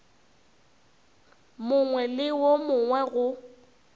mongwe le wo mongwe go